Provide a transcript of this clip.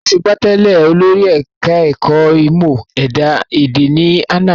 Asọ́gbà tèlé olórí ẹ̀ka ẹ̀kọ́ ìmò ẹ̀dá ẹ̀dẹ̀ ní àná